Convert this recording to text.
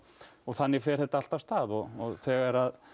þannig fer þetta allt af stað þegar